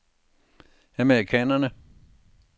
amerikanerne